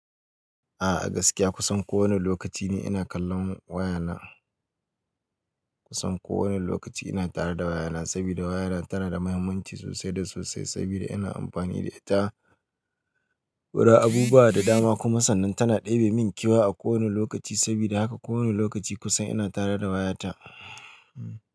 A'a gaskiya kusan kowane lokaci ni ina kallon waya na. Kusan kowane lokaci ina tare da waya na sabida waya na tana da muhimmanci sosai da sosai sabida ina amfani da ita wurin abubuwa da dama kuma sannan tana ɗebe min kewa a kowane lokaci sabida haka kowane lokaci kusan ina tare da waya ta. Hmm.